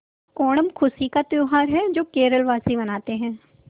ओणम खुशी का त्यौहार है जो केरल वासी मनाते हैं